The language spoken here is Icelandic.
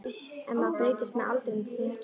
En maður breytist með aldrinum, þú þekkir það.